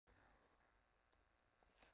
Sigurlína, ferð þú með okkur á þriðjudaginn?